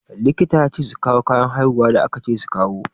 Likita ya ce su kawo kayan haihuwa da aka ce su kawo.